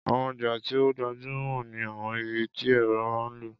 Àwọn ọjà tí ó gbajúmò ní àwọn ibi tí èrò máa ń lọ.